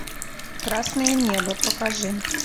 красное небо покажи